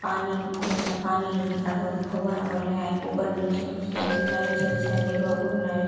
पानी खूब सन पानी निकाल बा बीती फौवारा बले आय ऊपर नीचे होइस आचे लाइट जलसि आचे बग-बग नाय--